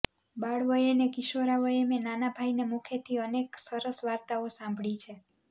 બાળવયે ને કિશોરવયે મેં નાનાભાઈને મુખેથી અનેક સરસ વાર્તાઓ સાંભળી છે